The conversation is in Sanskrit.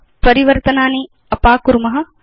परिवर्तनानि अपाकुर्म